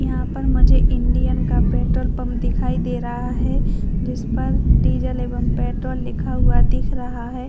यहाँ पर मुझे इंडियन का पेट्रोल पंप दिखाई दे रहा है जिसपर डीज़ल एवं पेट्रोल लिखा हुआ दिख रहा हैं।